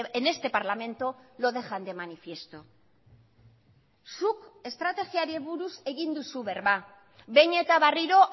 en este parlamento lo dejan de manifiesto zuk estrategiari buruz egin duzu berba behin eta berriro